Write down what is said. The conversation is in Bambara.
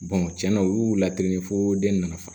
tiɲɛna u y'u la kelen fo den nana fa